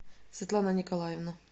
светлана николаевна